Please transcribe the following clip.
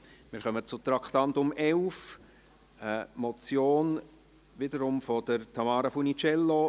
Wir kommen zum Traktandum 11, eine Motion, wiederum von Tamara Funiciello: